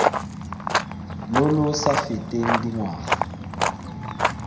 lo lo sa feteng dingwaga